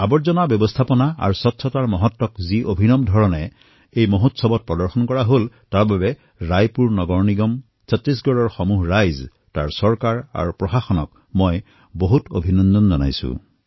জাবৰ ব্যৱস্থাপনা আৰু স্বচ্ছতাৰ মহত্ব যি অভিনৱ ধৰণে এই মহোৎসৱত প্ৰদৰ্শিত হল ইয়াৰ বাবে ৰায়পুৰ নগৰ নিগম সমগ্ৰ ছট্টিশগড়ৰ জনতা আৰু তাৰ চৰকাৰ তথা প্ৰশাসনক মই অভিনন্দন জনাইছোঁ